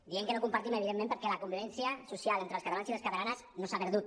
diem que no ho compartim evidentment perquè la convivència social entre els catalans i les catalanes no s’ha perdut